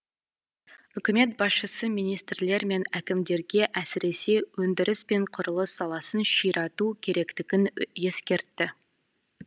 үкімет басшысы министрлер мен әкімдерге әсіресе өндіріс пен құрылыс саласын ширату керектігін ескертті